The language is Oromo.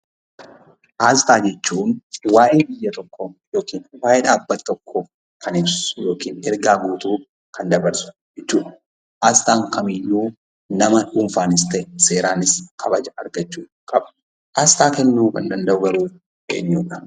Aasxaa jechuun waa'ee biyya tokkoo yookiin waa'ee dhaabbata tokkoo kan ibsu yookaan ergaa guutuu kan dabarsudha. Aasxaan kamiyyuu nama dhuunfaanis ta'e qaama mootummaan kabaja argachuu qaba. Aasxaa kennuu kan danda’u garuu eenyu?